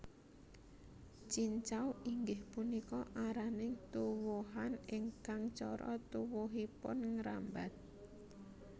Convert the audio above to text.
Cincau inggih punika araning tuwuhan ingkang cara tuwuhipun ngrambat